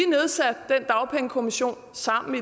sammen